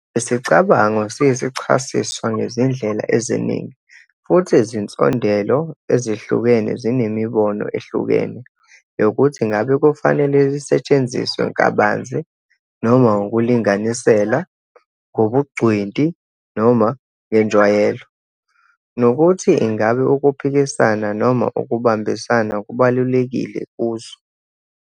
Lesicabango siyisachasiswa ngezindlela eziningi, futhi izinsondelo ezihlukene zinemibono ehlukene yokuthi ingabe kufanele lisetshenziswe kabanzi, noma ngokulinganisela, ngobungcweti Noma ngenjwayelo, nokuthi ingabe ukuphikisana noma ukubambisana kubalulekile kuzo.